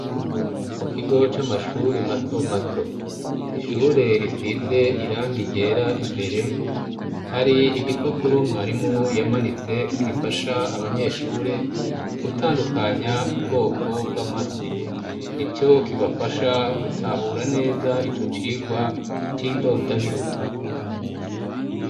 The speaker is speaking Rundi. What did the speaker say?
mu kigo c'amashuri mato mato ishure risize irangi ryera imbere hari igipapuro mwarimu yamanitse gifasha abanyeshure gutandukanya ubwoko bw'amasi nico kibafasha gutahura neza ico cigwa c'indondabihugu